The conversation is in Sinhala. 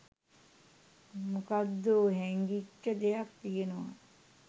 මොකක්දෝ හැංගිච්ච දෙයක් කියනවා.